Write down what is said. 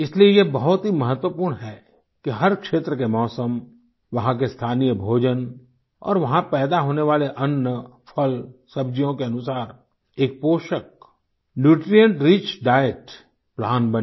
इसलिए यह बहुत ही महत्वपूर्ण है कि हर क्षेत्र के मौसम वहाँ के स्थानीय भोजन और वहाँ पैदा होने वाले अन्न फल सब्जियों के अनुसार एक पोषक न्यूट्रिएंट रिच डाइट प्लान बने